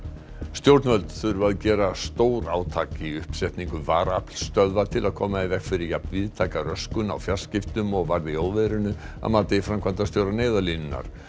stjórnvöld þurfa að gera stórátak í uppsetningu varaaflsstöðva til að koma í veg fyrir jafn víðtæka röskun á fjarskiptum og varð í óveðrinu að mati framkvæmdastjóra Neyðarlínunnar